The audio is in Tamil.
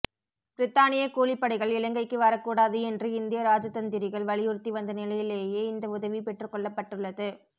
பிரித்தானிய கூலிப்படைகள் இலங்கைக்கு வரக்கூடாது என்று இந்திய இராஜதந்திரிகள் வலியுறுத்தி வந்த நிலையிலேயே இந்த உதவி பெற்றுக்கொள்ளப்பட்டுள்ளது